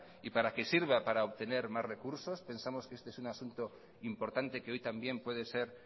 y para que sirva para obtener más recursos pensamos que este es un asunto importante que hoy también puede ser